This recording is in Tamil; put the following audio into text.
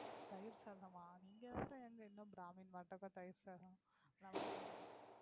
தயிர் சாதமா? நீங்க வேற ஏங்க இன்னும் brahmin தயிர் சாதம் lemon சாதமுன்னு?